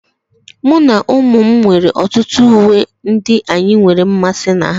Mụ na ụmụ m nwere ọtụtụ uwe ndị anyị nwere mmasị na ha